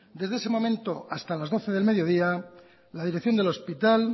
desde ese momento hasta las doce del mediodía la dirección del hospital